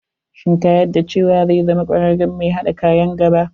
Shin ka yadda cewa zai zama kwararren mai haɗa kaya a nn gaba.